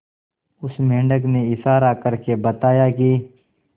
उस मेंढक ने इशारा करके बताया की